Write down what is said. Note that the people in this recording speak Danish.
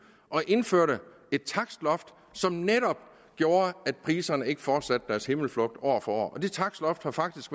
og indførte et takstloft som netop gjorde at priserne ikke fortsatte deres himmelflugt år for år det takstloft har faktisk